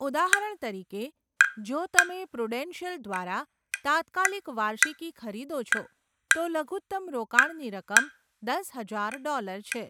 ઉદાહરણ તરીકે, જો તમે પ્રુડેન્શિયલ દ્વારા તાત્કાલિક વાર્ષિકી ખરીદો છો, તો લઘુત્તમ રોકાણની રકમ દસ હજાર ડોલર છે.